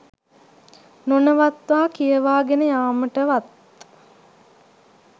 නොනවත්වා කියවා ගෙන යාමටවත්